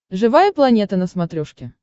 живая планета на смотрешке